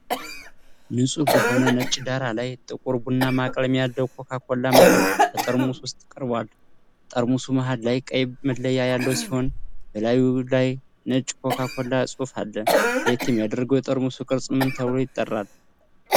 ንፁህ በሆነ ነጭ ዳራ ላይ፣ ጥቁር ቡናማ ቀለም ያለው ኮካ ኮላ መጠጥ በጠርሙስ ውስጥ ቀርቧል። ጠርሙሱ መሃል ላይ ቀይ መለያ ያለው ሲሆን፣ በላዩ ላይ ነጭ የCoca-Cola ጽሑፍ አለ። ለየት የሚያደርገው የጠርሙስ ቅርፅ ምን ተብሎ ይጠራል?